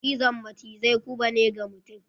cizon macizai guba ne ga mutum.